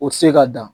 O tɛ se ka dan